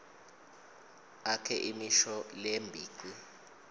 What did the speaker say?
akhe imisho lembici